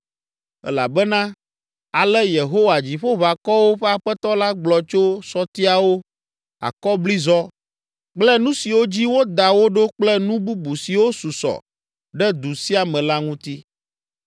Elabena, ale Yehowa, Dziƒoʋakɔwo ƒe Aƒetɔ la gblɔ tso sɔtiawo, akɔblizɔ kple nu siwo dzi woda wo ɖo kple nu bubu siwo susɔ ɖe du sia me la ŋuti.